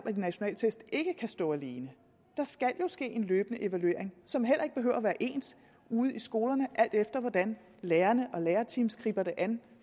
at de nationale test ikke kan stå alene der skal jo ske en løbende evaluering som heller ikke behøver at være ens ude i skolerne alt efter hvordan lærerne og lærerteams griber det an